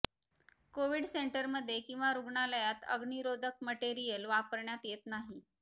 COVID सेंटरमध्ये किंवा रुग्णालयात अग्नीरोधक मटेरिअल वापरण्यात येत नाही